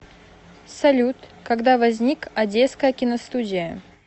салют когда возник одесская киностудия